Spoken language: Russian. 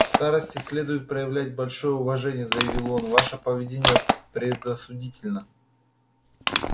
к старосте следует проявлять большое уважение заявил он ваше поведение предосудительно